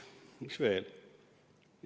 " Mis veel?